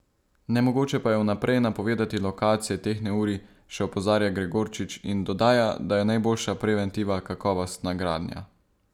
Nemogoče pa je vnaprej napovedati lokacije teh neurij, še opozarja Gregorčič in dodaja, da je najboljša preventiva kakovostna gradnja.